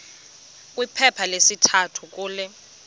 kwiphepha lesithathu kule